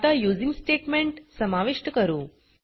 आता using statement समाविष्ट करू